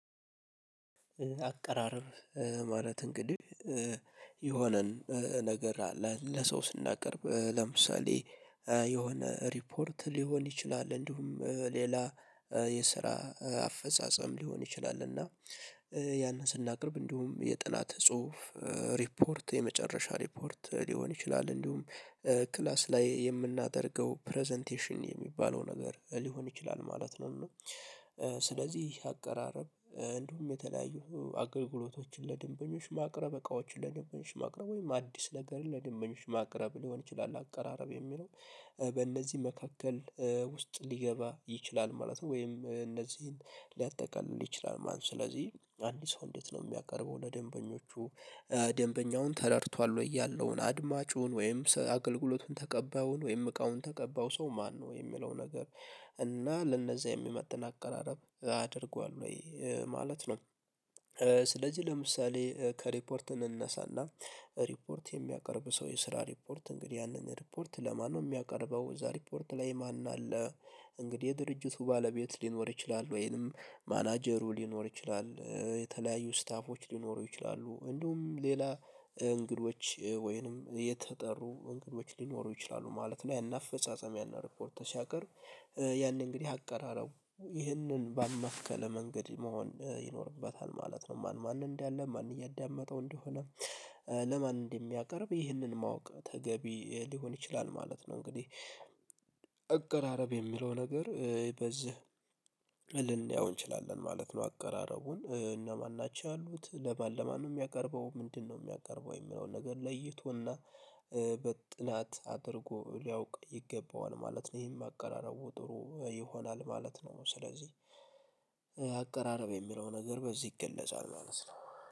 አቀራረብ ማለት እንግዲህ የሆነን ነገር አለ ለሰው ስናቀርብ ለምሳሌ የሆነ ሪፖርት ሊሆን ይችላል እንዲሁም ሌላ አፈጻጸም ሊሆን ይችላል እና ያንን ስናቀርብ እንዲሁም የጠላት ጽሁፍ ሪፖርት የመጨረሻ ሪፖርት ሊሆን ይችላል እንዲሁም ክላስ ላይ የምናደርገው ፕረዘንቴሽን የሚባለው ነገር ሊሆን ይችላል ማለት ነው እና ስለዚህ አቀራረብ እንዲሁም የተለያዩ አገልግሎቶችን ለደንበኞች ማቅረብ እቃዎችን ለደንበኞች ማቅረብ ወይም አዲስ ነገርን ለደንበኞች ማቅረብ ሊሆን ይችላል አቀራረብ የሚለው በእነዚህ መካከል ውስጥ ሊገባ ይችላል ማለት ነው። ወይም እነዚህን ሊያጠቃልል ይችላል ማለት ስለዚህ አንድ ሰው እንዴት ነው የሚያቀርበው ለደንበኞቹ ደንበኛውን ተረድቷል ወይ ያለውን አድማጩን ወይም አገልግሎቱን ተቀባዩን ወይም እቃውን ተቀባው ሰው ማነው የሚለው ነገር እና ለእነዛ የሚመጥን አቀራረብ አደርገዋል ወይ ማለት ነው። ስለዚህ ለምሳሌ ከሪፖርት እንነሳና ሪፖርት የሚያቀርብ ሰው የስራ ሪፖርት እንግዲህ ያንን ሪፖርት ለማነው የሚያቀርበው እዛ ሪፖርት ላይ ማን አለ? እንግዲህ የድርጅቱ ባለቤት ሊኖር ይችላል ወይንም ማናጀሩ ሊኖር ይችላል። የተለያዩ ስታፎች ሊኖሩ ይችላሉ እንደውም ሌላ እንግዶች ወይንም የተጠሩ እንግዶች ሊኖሩ ይችላሉ ማለት ነው ያኔ አፈጻጸም ያኔ ሪፖርት ስያቀርብ ያንን እንግዲህ አቀራረቡ ይህንን በማከለ መንገድ መሆን ይኖርበታል ማለት ነው። ማን ማን እንዳለ ማን እያዳመጠው እንደሆነ ለማን እንደሚያቀርብ ይህንን ማወቅ ተገቢ ሊሆን ይችላል ማለት ነው እንግዲህ አቀራረብ የሚለው ነገር በዝህ ልን ልንየው እንችላለን ማለት ነው አቀራረቡን። እነማን ናቸው ያሉት ለማን ለማን ነው የሚያቀርበው ምንድነው የሚያቀርበው የሚለውን ነገር ለይቶና በጥናት አድርጎ ሊያውቅ ይገባዋል ማለት ነው ይሄን ማቀራረቡ ጥሩ ይሆናል ማለት ነው። ስለዚህ አቀራረብ የሚለው ነገር በዚህ ይገለጻል ማለት ነው።